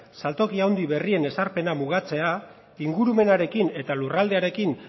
saltoki handi berrien ezarpena mugatzea ingurumenarekin eta lurralde